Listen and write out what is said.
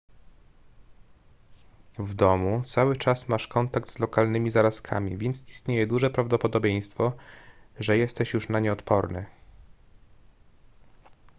w domu cały czas masz kontakt z lokalnymi zarazkami więc istnieje duże prawdopodobieństwo że jesteś już na nie odporny